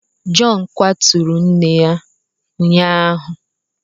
Jọn kwaturu nne ya ụnyaahụ.